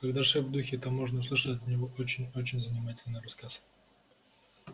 когда шеф в духе то можно услышать от него очень очень занимательный рассказ